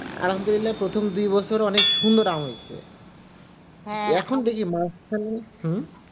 আলহামদুল্লাহ প্রথম বছর কি সুন্দর আম হয়েছে এখন দেখি মাঝখানে